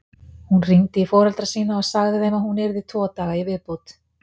Hún hringdi í foreldra sína og sagði þeim að hún yrði tvo daga í viðbót.